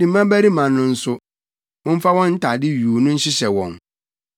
Ne mmabarima no nso, momfa wɔn ntade yuu no nhyehyɛ wɔn.